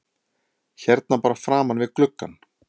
Hérna bara framan við gluggann?